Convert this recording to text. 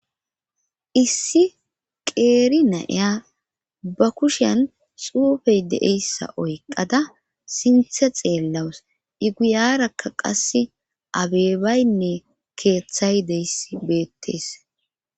Issi qeeri na'iya ba kushen xuufey deeyssa oyqada sinthe xeellawus i guyarakka qasse abeebaynne keeththay deys beettees.